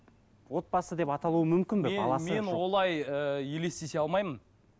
отбасы деп аталу мүмкін бе мен олай ыыы елестете алмаймын